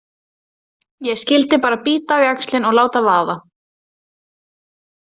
Ég skyldi bara bíta á jaxlinn og láta vaða.